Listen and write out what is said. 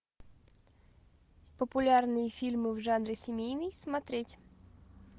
популярные фильмы в жанре семейный смотреть